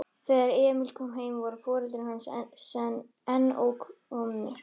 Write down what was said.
Þegar Emil kom heim voru foreldrar hans enn ókomnir.